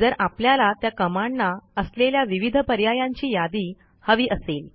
जर आपल्याला त्या Commandना असलेल्या विविध पर्यायांची यादी हवी असेल